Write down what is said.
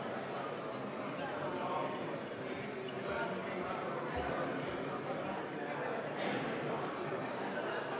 Austatud Riigikogu, panen hääletusele ehitusseadustiku muutmise seaduse eelnõu 703.